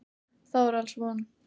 Þá er alls von.